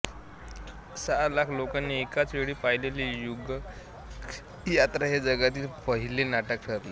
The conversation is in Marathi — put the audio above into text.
सहा लाख लोकांनी एकाचवेळी पाहिलेले युगयात्रा हे जगातील पाहिले नाटक ठरले